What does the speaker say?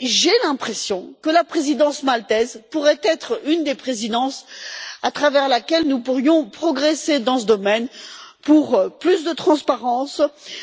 J'ai l'impression que la présidence maltaise pourrait être une des présidences au cours de laquelle nous pourrions progresser dans ce domaine, pour plus de transparence